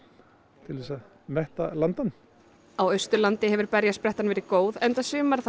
til að metta landann á Austurlandi hefur berjasprettan verið góð enda sumarið þar